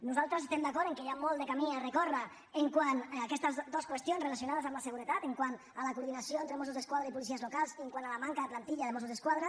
nosaltres estem d’acord que hi ha molt de camí a recórrer quant a aquestes dues qüestions relacionades amb la seguretat quant a la coordinació entre mossos d’esquadra i policies locals i quant a la manca de plantilla de mossos d’esquadra